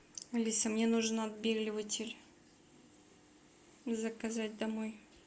алиса мне нужен отбеливатель заказать домой